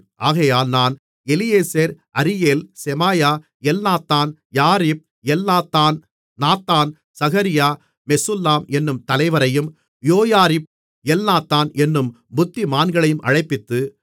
ஆகையால் நான் Eliezer Ariel Shemaiah Elnathan Jarib Elnathan Nathan Zechariah Meshullam என்னும் தலைவரையும் யோயாரிப் எல்நாத்தான் என்னும் புத்திமான்களையும் அழைப்பித்து